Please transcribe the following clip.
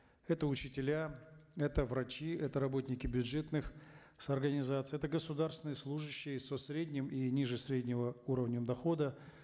это учителя это врачи это работники бюджетных организаций это государственные служащие со средним и ниже среднего уровнем дохода